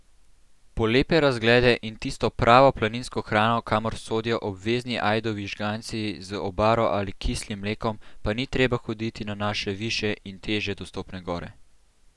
Po lepe razglede in tisto pravo planinsko hrano, kamor sodijo obvezni ajdovi žganci z obaro ali kislim mlekom, pa ni treba hoditi na naše višje in težje dostopne gore.